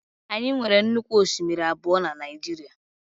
Anyị nwere nnukwu osimiri abụọ na Naịjirịa.